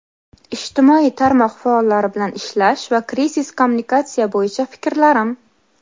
Ijtimoiy tarmoq faollari bilan ishlash va krizis kommunikatsiya bo‘yicha fikrlarim.